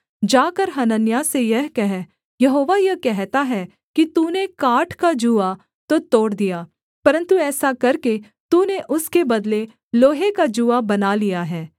जाकर हनन्याह से यह कह यहोवा यह कहता है कि तूने काठ का जूआ तो तोड़ दिया परन्तु ऐसा करके तूने उसके बदले लोहे का जूआ बना लिया है